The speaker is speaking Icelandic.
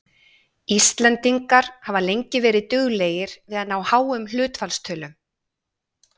Íslendingar hafa lengi verið duglegir við að ná háum hlutfallstölum.